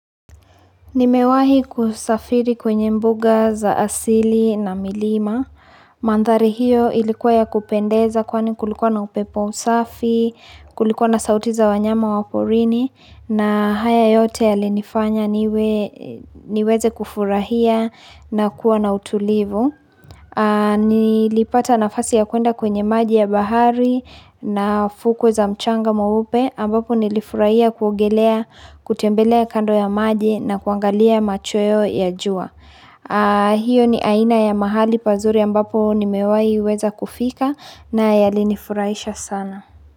Nimewahi kusafiri kwenye mbuga za asili na milima. Mandhari hiyo ilikuwa ya kupendeza kwani kulikuwa na upepo msafi, kulikuwa na sauti za wanyama wa porini na haya yote yalinifanya niweze kufurahia na kuwa na utulivu. Nilipata nafasi ya kuenda kwenye maji ya bahari na fuko za mchanga mweupe ambapo nilifurahia kuongelea, kutembelea kando ya maji na kuangalia machweo ya jua Hio ni aina ya mahali pazuri ambapo nimewai weza kufika na yalinifurahisha sana.